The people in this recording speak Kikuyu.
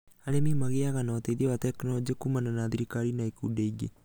Arĩmi magĩaga na ũteithio wa tekinorojĩ kumana na thirikari na ikundi ingĩ